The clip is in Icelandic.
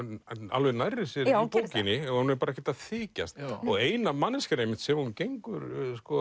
alveg nærri sér í bókinni hún er bara ekkert að þykjast og eina manneskjan einmitt sem hún gengur